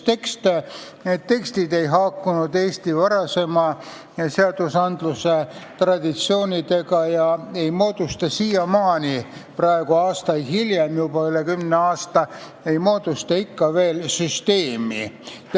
Need tekstid ei haakunud Eesti varasemate seadusetraditsioonidega ega moodusta siiamaani, juba üle kümne aasta hiljem, ikka veel terviksüsteemi.